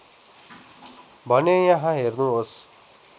भने यहाँ हेर्नुहोस्